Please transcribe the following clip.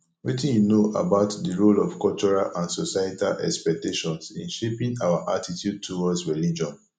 wetin you know about di role of cultural and societal expectations in shaping our attitude towards religion